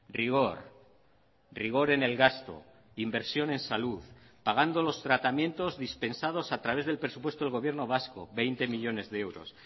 rigor rigor en el gasto inversión en salud pagando los tratamientos dispensados a través del presupuesto del gobierno vasco veinte millónes de euros